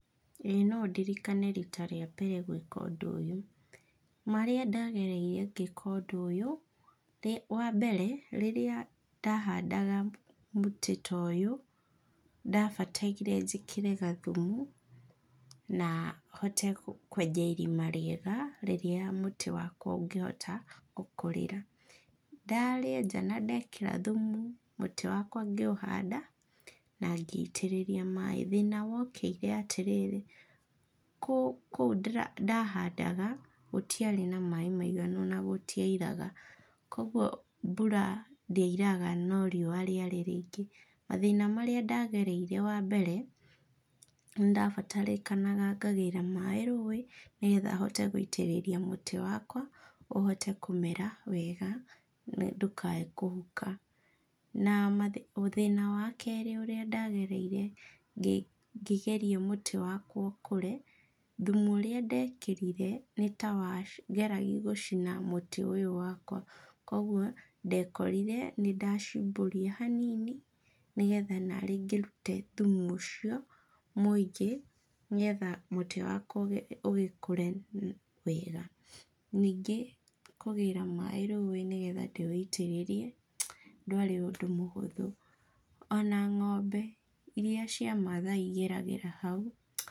Ĩĩ no ndirikane rita rĩa mbere gwĩka ũndũ ũyũ. Marĩa ndagereire ngĩka ũndũ ũyũ, wa mbere rĩrĩa ndahandaga mũtĩ ta ũyũ, ndabataire njĩkĩre gathumu, na hote kwenja irima rĩega, rĩrĩa mũtĩ wakwa ũngĩhota gũkũrĩra. Ndarĩenja na ndekĩra thumu, mũtĩ wakwa ngĩũhanda, na ngĩitĩrĩria maĩ. Thĩna wokĩire atĩrĩrĩ, kũ kũu ndĩra ndahandaga, gũtiarĩ na maĩ maiganu na gũtiairaga. Koguo mbura ndĩairaga no riua rĩarĩ rĩingĩ. Mathĩna marĩa ndagereire wa mbere, nĩndabatarĩkanaga ngagĩra maĩ rũĩ, nĩgetha hote gũitĩrĩria mũtĩ wakwa, ũhote kũmera wega, na ndũkae kũhuka. Na mathĩ thĩna wa kerĩ ũrĩa ndagereire, ngĩ ngĩgeria mũtĩ wakwa ũkũre, thumu ũrĩa ndekĩrire, nĩtawageragia gũcina mũtĩ ũyũ wakwa, koguo ndekorire nĩndacimbũria hanini, nĩgetha narĩ ngĩrute thumu ũcio mũingĩ, nĩgetha mũtĩ wakwa ũ ũgĩkure wega. Ningĩ kũgĩra maĩ rũĩ, nĩgetha ndĩwĩitĩrĩrie, ndwarĩ ũndũ mũhũthũ. Ona ng'ombe iria cia Mathai igeragĩra hau...